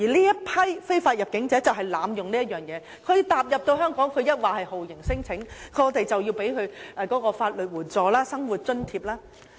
而這批非法入境者就是濫用此條文，踏入香港後便立即提出酷刑聲請，這樣我們便要提供法律援助、生活津貼。